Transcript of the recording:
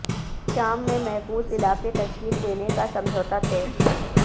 شام میں محفوظ علاقے تشکیل دینے کا سمجھوتا طے